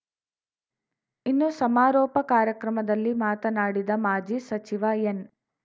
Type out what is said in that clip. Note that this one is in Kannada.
ಇನ್ನು ಸಮಾರೋಪ ಕಾರ್ಯಕ್ರಮದಲ್ಲಿ ಮಾತನಾಡಿದ ಮಾಜಿ ಸಚಿವ ಎನ್‌